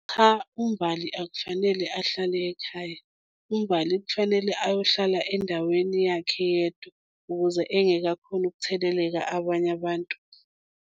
Cha, uMbali akufanele ahlale ekhaya. UMbali kufanele ayohlala endaweni yakhe yedwa ukuze engeke akhone ukutheleleka abanye abantu.